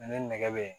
Ale ni nɛgɛ bɛ